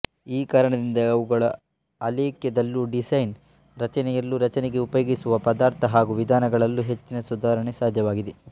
ಈ ಕಾರಣದಿಂದ ಅವುಗಳ ಅಲೇಖ್ಯದಲ್ಲೂ ಡಿಸೈನ್ ರಚನೆಯಲ್ಲೂ ರಚನೆಗೆ ಉಪಯೋಗಿಸುವ ಪದಾರ್ಥ ಹಾಗೂ ವಿಧಾನಗಳಲ್ಲೂ ಹೆಚ್ಚಿನ ಸುಧಾರಣೆ ಸಾಧ್ಯವಾಗಿದೆ